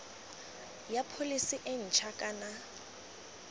ya pholese e ntšha kana